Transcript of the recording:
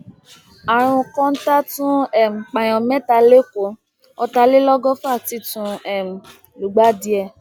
àrùn kóńtá tún um pààyàn mẹta lẹkọọ ọtàlélọgọfà ti tún um lùgbàdì ẹ